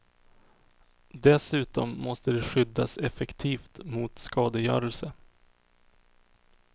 Dessutom måste de skyddas effektivt mot skadegörelse.